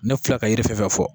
Ne filɛ ka yiri fɛn fɛn fɔ